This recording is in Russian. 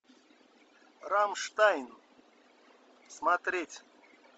рамштайн смотреть